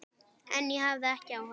En ég hafði ekki áhuga.